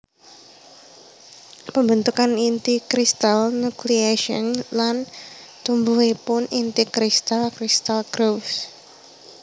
Pembentukan inti kristal nucleation lan tumbuhipun inti kristal crystal growth